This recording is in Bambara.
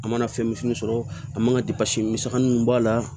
An mana fɛn misɛnnin sɔrɔ a man ka misɛnmanin mun b'a la